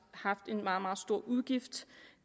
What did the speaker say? haft en meget meget stor udgift